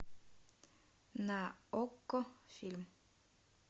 на окко фильм